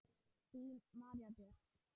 Þín María Björk.